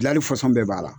Gilali fɔsɔn bɛɛ b'a la